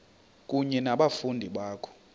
kunye nabafundi bakho